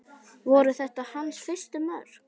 Voru þetta hans fyrstu mörk?